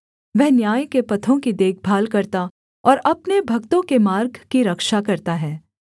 वह न्याय के पथों की देखभाल करता और अपने भक्तों के मार्ग की रक्षा करता है